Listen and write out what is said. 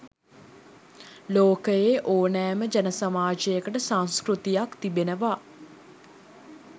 ලෝකයේ ඕනෑම ජන සමාජයකට සංස්කෘතියක් තිබෙනවා.